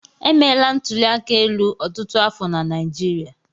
Emeela ntụli aka elu ọtụtụ afọ na Naịjirịa.